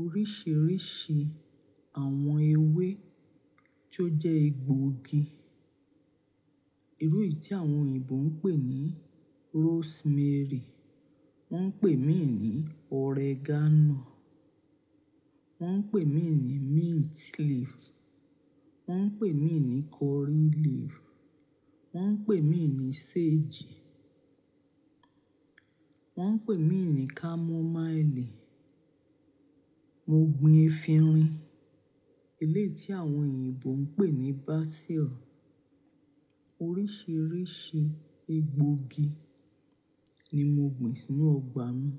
oríṣiríṣi àwọn ewé tó jẹ́ egbògi. Irú èyí tí àwọn òyìnbó ń pè ní rosemary, wọ́n ń pè míì ní oregano, wọ́n ń pè míì ní mint leaf, wọ́n ń pè míì ní curry leaf, wọ́n ń pè míì ní sage, wọ́n ń pè míì ní chamomile. Mo gbin efinrin, eléyìí tí àwọn òyìnbó ń pè ní basil. Oríṣiríṣi egbògi ni mo gbin sínú ọgbà mi.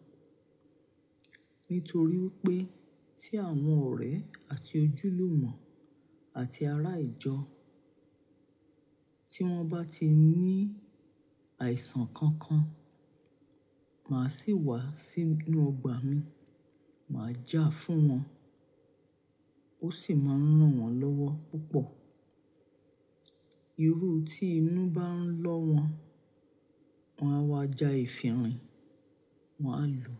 Nítorí wípé tí àwọn ọ̀rẹ́ àti ojúlùmọ̀ àti ará ìjọ tí wọ́n bá ti ní àìsàn kankan, máa sì wá sínú ọgbà mi, màá já fún wọn, ó sì máa ń ràn wọ́n lọ́wọ́ púpọ̀. Irú tí inú bá ń lọ́ wọn, wọn á wá ja efinrin, wọn á lo,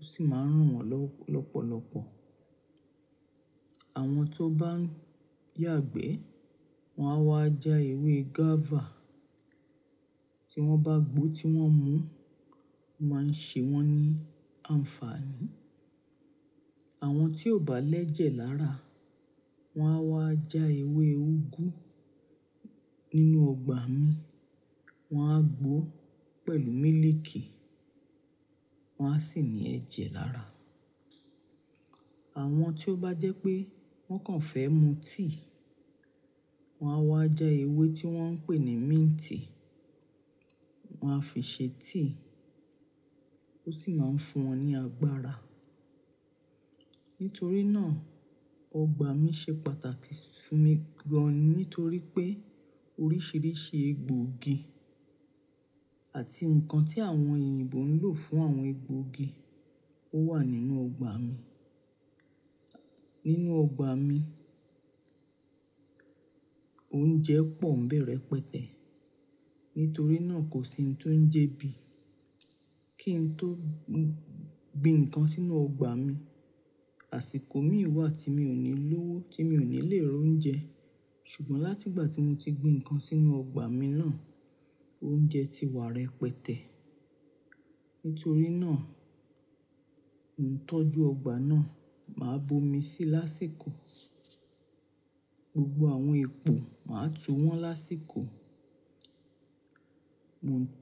ó sì máa ń ràn wọ́n lọ́pọ̀lọ́pọ̀. Àwọn tó bá ń yàgbẹ́, wọn á wá ja ewé guava. Tí wọ́n bá gbó, tí wọ́n mú, ó máa ń ṣe wọ́n ní àǹfààní. Àwọn tí ò bá lẹ́jẹ̀ lára, wọn á wá ja ewé úgú nínú ọgbà mi, wọn á gbó pẹ̀lú mílíìkì, wọn á sì ní ẹ̀jẹ̀ lára. Àwọn tí ó bá jẹ́ pé wọ́n kàn fẹ́ mu tíì, wọn á wá ja ewé tí wọ́n ń pè ní mint, wọn á fi ṣe tíì, ó sì máa ń fún wọn ní agbára. Nítorí náà, ọgbà mi ṣe pàtàkì fún mi gan ni torí pé oríṣiríṣi egbògi àti nǹkan tí àwọn òyìnbó ń lò fún àwọn egbògi ó wà nínú ọgbà mi. Nínú ọgbà mi, oúnjẹ pọ̀ ń bẹ̀ rẹ̀pẹtẹ́. Nítorí náà, kò sí ohun tó ń jẹ ebí kì ń tó gbin ǹnkan sínú ọgbà mi. Àsìkò mí wà tí mi ò ní lówó, tí mi ò ní lè ro oúnjẹ. Ṣùgbọ́n láti ìgbà tí mo ti gbin ǹnkan sínú ọgbà mi náà, oúnjẹ ti wà rẹ pẹtẹ́. Nítorí náà, ìtọ́jú ọgbà náà máa bomi sí lásìkò. Gbogbo àwọn epo, màá tu wọ́n lásìkò.